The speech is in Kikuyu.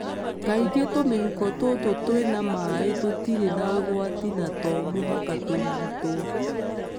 Kaingĩ tũmĩhuko tũtũ twĩna maĩ tũtirĩ na ũgwati na to mũhaka ũrigitwo.